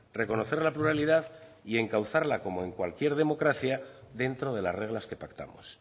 reconocer la pluralidad y encauzarla como en cualquier democracia dentro de las reglas que pactamos